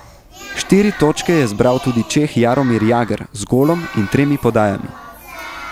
Štiri točke je zbral tudi Čeh Jaromir Jagr z golom in tremi podajami.